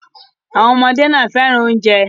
Àwọn ọmọdé náà fẹ́ràn oúnjẹ.